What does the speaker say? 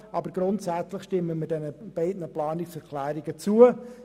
Aber grundsätzlich stimmen wir den beiden Planungserklärungen zu.